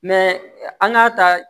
an k'a ta